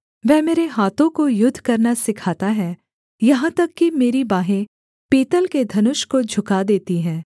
वह मेरे हाथों को युद्ध करना सिखाता है यहाँ तक कि मेरी बाँहे पीतल के धनुष को झुका देती हैं